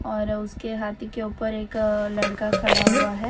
और उसके हाथी के ऊपर एक लड़का खड़ा हुआ है।